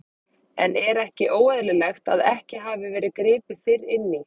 En er ekki óeðlilegt að ekki hafi verið gripið fyrr inn í?